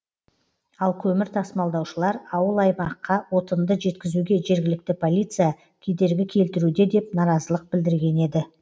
ал көмір тасымалдаушылар ауыл аймаққа отынды жеткізуге жергілікті полиция кедергі келтіруде деп наразылық білдірген еді